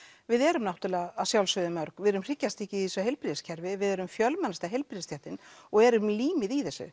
við erum náttúrulega að sjálfsögðu mörg við erum hryggjarstykki í þessu heilbrigðiskerfi við erum fjölmennasta heilbrigðisstéttin og erum límið í þessu